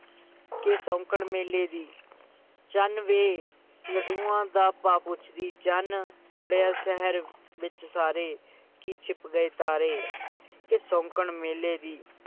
ਕਿ ਸ਼ੌਂਕਣ ਮੇਲੇ ਦੀ ਚੰਨ ਵੇ ਲਡੂਆਂ ਦਾ ਭਾ ਪੁਛਦੀ ਚੰਨ ਚੜ੍ਹਿਆ ਸ਼ਹਿਰ ਵਿੱਚ ਸਾਰੇ ਕਿ ਛਿਪ ਗਏ ਤਾਰੇ ਕਿ ਸ਼ੌਂਕਣ ਮੇਲੇ ਦੀ,